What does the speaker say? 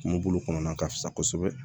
Kungo bolo kɔnɔna ka fisa kosɛbɛ